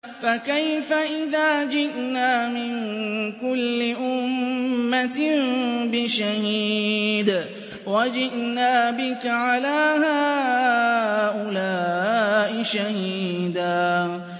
فَكَيْفَ إِذَا جِئْنَا مِن كُلِّ أُمَّةٍ بِشَهِيدٍ وَجِئْنَا بِكَ عَلَىٰ هَٰؤُلَاءِ شَهِيدًا